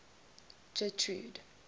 getrude